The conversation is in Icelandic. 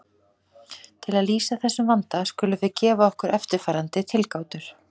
Það var greinilegt að augað blekkti hér einu sinni enn.